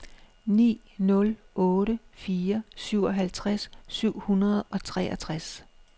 ni nul otte fire syvoghalvtreds syv hundrede og treogtres